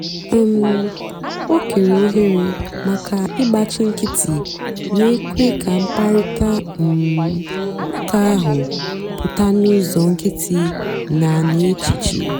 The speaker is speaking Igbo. um o kèèrè òhèrè maka ị̀gbáchì nkìtì na-èkwé kà mkpáịrịtà um ụ́ka ahụ́ pụ́ta n'ụ́zọ́ nkìtì na n'èchìchè.